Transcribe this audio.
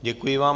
Děkuji vám.